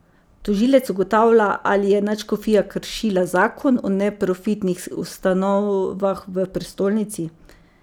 Tožilec ugotavlja ali je nadškofija kršila zakon o neprofitnih ustanovah v prestolnici.